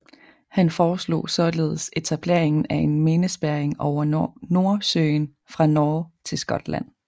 Han foreslog således etableringen af en minespærring over Nordsøen fra Norge til Skotland